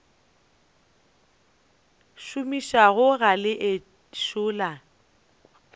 šomišago ga le ešo la